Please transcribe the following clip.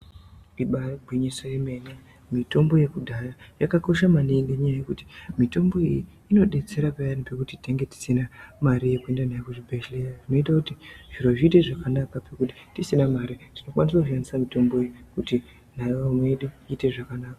Ibaarigwinyiso remene mitombo yekudhaya yakakosha maningi nenyaya yekuti mitombo iyi inodetsera peyani pekuti tinenge tisina mare yekuende nayo kuzvibhehleya zvinoite kuti zviro zviite zvakanaka pekuti tisina mare tinokwanise kushandise mitombo iyi kuti ndaramo yedu ite zvakanaka.